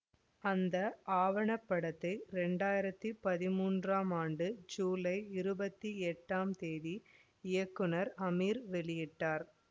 அந்த ஆவணப்படத்தை ரெண்டயுறித்தி பத்தாம் ஆண்டு ஜூலை இருபத்தி எட்டாம் தேதி இயக்குநர் அமீர் வெளியிட்டார்